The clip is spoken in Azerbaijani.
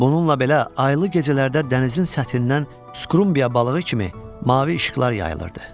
Bununla belə, aylı gecələrdə dənizin səthindən skrumbya balığı kimi mavi işıqlar yayılırdı.